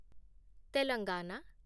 Telangana